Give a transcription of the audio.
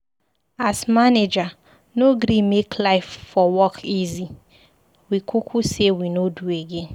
As manager no gree make life for work easy, we kuku sey we no do again.